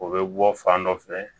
O bɛ bɔ fan dɔ fɛ